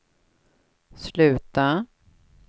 sluta